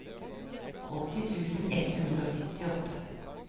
åtti tusen ett hundre og syttiåtte